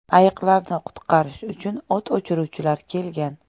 Ayiqlarni qutqarish uchu o‘t o‘chiruvchilar kelgan.